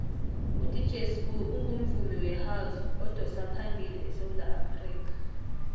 udj sbu ungumvumi wehouse odosaphambili esewula afrikha